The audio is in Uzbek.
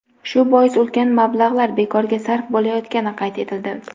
Shu bois ulkan mablag‘lar bekorga sarf bo‘layotgani qayd etildi.